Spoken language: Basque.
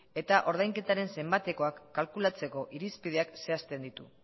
eta ordainketaren zenbatekoak kalkulatzeko irizpideak zehazten ditu